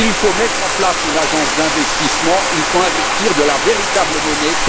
Il faut mettre en place une agence d'investissement, il faut investir de la véritable monnaie.